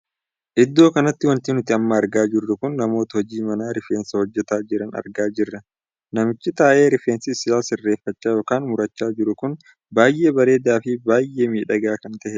Iddoo kanatti wanti nuti amma argaa jirru kun namoota hojii mana rifeensaa hojjetaa jiran argaa jirra. namichi taa'ee rifeensa isaa sirreeffachaa ykn murachaa jiru kun baay'ee bareedaa fibaay'ee miidhagaa kan tahedha.